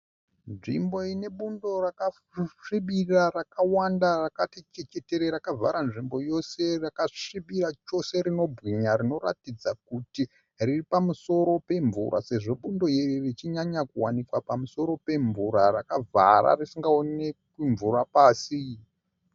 Nzvimbo inebundo rakasvibirira rakawanda rakati chechetere rakavhara nzvimbo yose rakasvibira chose rinobwinya rinoratidza kuti riripamusoro pemvura sezvo bundo iri richinyanya kuwanikwa pamusoro pemvura rakavhara risingaonesi mvura pasi.